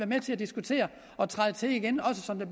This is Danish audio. med til at diskutere og træde til igen også som det